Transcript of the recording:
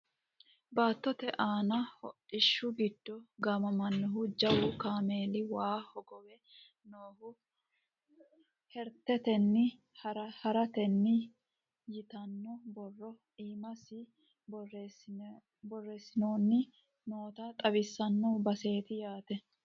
baattote aani hodhishshi giddo gaamamannohu jawu kameeli waa hogowe noohu hareretenni harerete yitanno borro iimasi borreessineenna noota xawinsoonni baseeti yaate